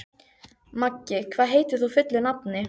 Maggi, hvað heitir þú fullu nafni?